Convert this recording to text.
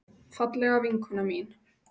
Fallega vinkona mín.